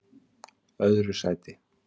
öðru sæti